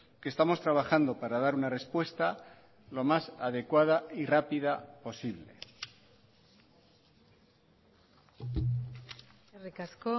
que estamos trabajando para dar una respuesta lo más adecuada y rápida posible eskerrik asko